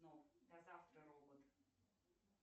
до завтра робот